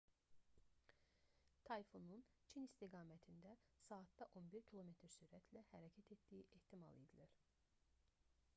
tayfunun çin istiqamətində saatda 11 km sürətlə hərəkət etdiyi ehtimal edilir